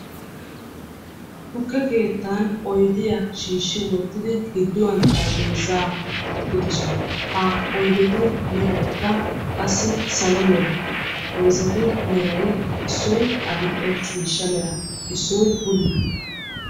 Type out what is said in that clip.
Tukke keettan oydiya shiishshi wottidi gidduwan xarapheezzaa wottidosona. Ha oydetu meraykka qassi salo mera xarapheezzatu merayi Issoyi adill'e ciishsha mera, Issoyi bulla.